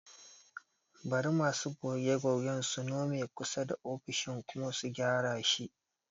Bari masu goge-gogen su nome kusa da ofishin kuma su gyara shi